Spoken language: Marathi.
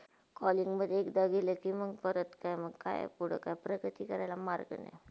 कॉलिंगमधे एखदा गेले कि म परत काय - काय पुडे काय मार्ग नाय.